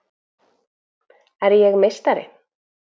Er ég meistari?